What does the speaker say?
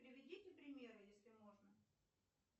приведите примеры если можно